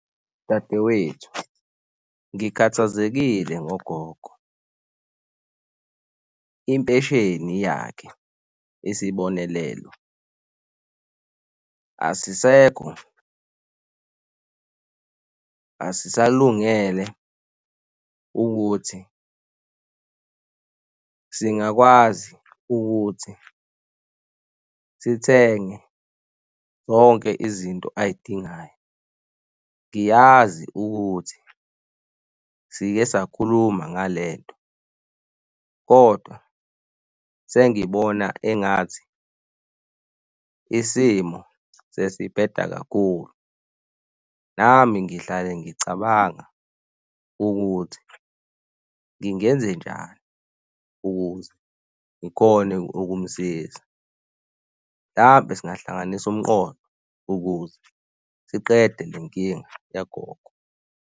Dadewethu, ngikhathazekile ngogogo. Impesheni yakhe, isibonelelo asisekho, asisalungele ukuthi singakwazi ukuthi sithenge zonke izinto azidingayo. Ngiyazi ukuthi sike sakhuluma ngale nto kodwa sengibona engathi isimo sesihbeda kakhulu, nami ngihlale ngicabanga ukuthi ngingenze njani ukuze ngikhone ukumsiza. Hlampe singahlanganisa umqondo ukuze siqede le nkinga yagogo.